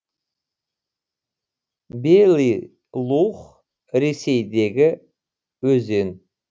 белый лух ресейдегі өзен